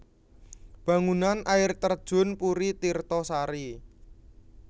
Bangunan Air Terjun Puri Tirto Sari